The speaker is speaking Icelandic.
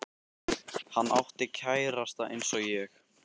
Halla átti kærasta eins og ég.